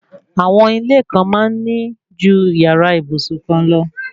Àwọn ilé kan máa ń ní ju yàrá ìbùsùn kan lọ